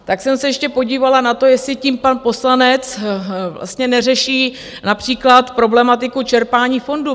Tak jsem se ještě podívala na to, jestli tím pan poslanec vlastně neřeší například problematiku čerpání fondů.